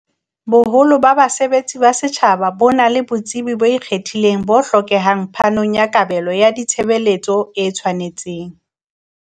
Boholo ba basebetsi ba setjhaba bona le botsebi bo ikgethileng bo hlokehang phanong ya kabelo ya ditshe beletso e tshwanetseng.